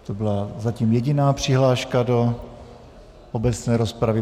To byla zatím jediná přihláška do obecné rozpravy.